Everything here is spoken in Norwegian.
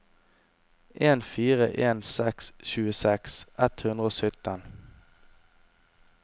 en fire en seks tjueseks ett hundre og sytten